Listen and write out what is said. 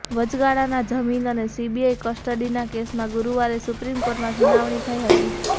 વચગાળાના જામીન અને સીબીઆઈ કસ્ટડીના કેસમાં ગુરુવારે સુપ્રીમ કોર્ટમાં સુનાવણી થઈ હતી